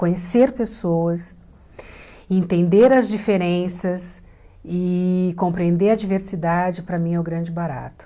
Conhecer pessoas, entender as diferenças e compreender a diversidade, para mim, é o grande barato.